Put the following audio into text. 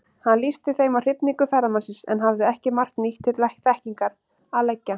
Hann lýsti þeim af hrifningu ferðamannsins, en hafði ekki margt nýtt til þekkingar að leggja.